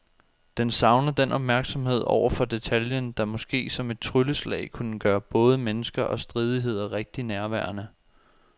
Den savner den opmærksomhed over for detaljen, der måske som et trylleslag kunne gøre både mennesker og stridigheder rigtig nærværende.